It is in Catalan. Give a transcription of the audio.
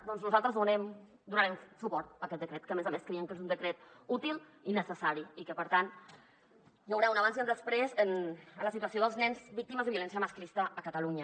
doncs nosaltres donarem suport a aquest decret que a més a més creiem que és un decret útil i necessari i que per tant hi haurà un abans i un després en la situació dels nens víctimes de violència masclista a catalunya